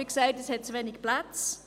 es gibt wie gesagt zu wenige Plätze.